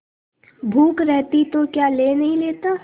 भूख रहती तो क्या ले नहीं लेता